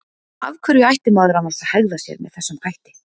Af hverju ætti maður annars að hegða sér með þessum hætti?